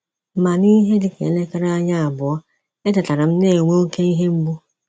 Ma n’ihe dị ka elekere anya abụọ, etetara m na - enwe oké ihe mgbu.